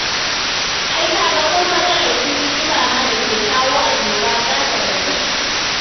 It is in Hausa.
Ai ka ga ko matsalar cututtuka ma da ke kawo annoba za ta ragu.